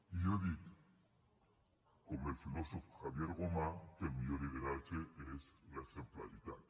i jo dic com el filòsof javier gomá que el millor lideratge és l’exemplaritat